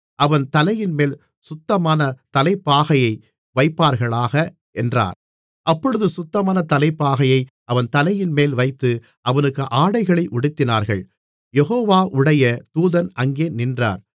அவன் தலையின்மேல் சுத்தமான தலைப்பாகையை வைப்பார்களாக என்றார் அப்பொழுது சுத்தமான தலைப்பாகையை அவன் தலையின்மேல் வைத்து அவனுக்கு ஆடைகளை உடுத்தினார்கள் யெகோவாவுடைய தூதன் அங்கே நின்றார்